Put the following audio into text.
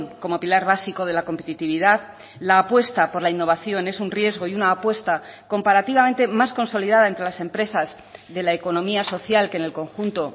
como pilar básico de la competitividad la apuesta por la innovación es un riesgo y una apuesta comparativamente más consolidada entre las empresas de la economía social que en el conjunto